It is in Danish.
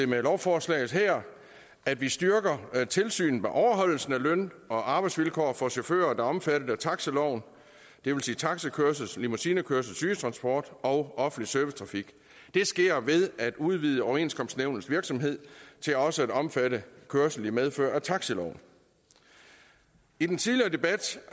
med lovforslaget her at vi styrker tilsynet med overholdelsen af løn og arbejdsvilkår for chauffører der er omfattet af taxiloven det vil sige taxikørsel limousinekørsel sygetransport og offentlig servicetrafik det sker ved at udvide overenskomstnævnets virksomhed til også at omfatte kørsel i medfør af taxiloven i den tidligere debat